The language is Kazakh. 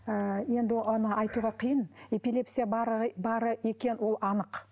ы енді оны айтуға қиын эпилепсия бары екені ол анық